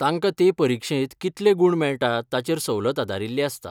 तांकां ते परीक्षेंत कितले गूण मेळटात ताचेर सवलत आदारील्ली आसता.